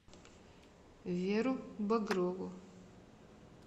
веру багрову